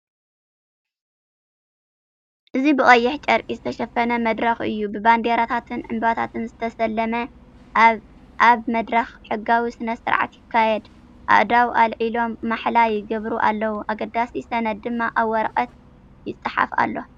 እዚ ብቀይሕ ጨርቂ ዝተሸፈነ መድረኽ እዩ፣ ብባንዴራታትን ዕምባባታትን ዝተሰለመ። ኣብ መድረኽ ሕጋዊ ስነ-ስርዓት ይካየድ፤ ኣእዳው ኣልዒሎም ማሕላ ይግበሩ ኣለው፡ ኣገዳሲ ሰነድ ድማ ኣብ ወረቐት ይጽሓፍ ኣሎ።